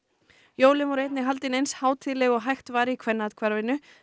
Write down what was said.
jólin voru einnig haldin eins hátíðleg og hægt var í Kvennaathvarfinu